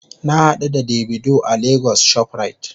Na hadu da "davido" a lagos shoprite.